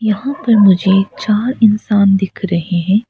यहां पे मुझे चार इंसान दिख रहे है।